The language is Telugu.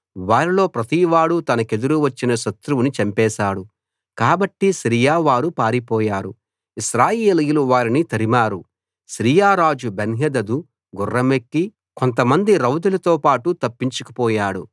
వారిలో ప్రతివాడూ తనకెదురు వచ్చిన శత్రువుని చంపేశాడు కాబట్టి సిరియా వారు పారిపోయారు ఇశ్రాయేలీయులు వారిని తరిమారు సిరియా రాజు బెన్హదదు గుర్రమెక్కి కొంతమంది రౌతులతోపాటు తప్పించుకుపోయాడు